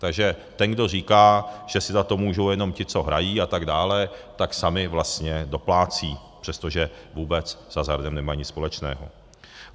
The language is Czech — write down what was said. Takže ten, kdo říká, že si za to můžou jenom ti, co hrají a tak dále, tak sami vlastně doplácejí, přestože vůbec s hazardem nemají nic společného.